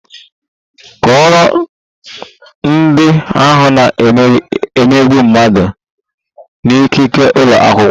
Kọọrọ ndị ahụ na - emegbu mmadụ n'ikike ụlọ akwụkwọ!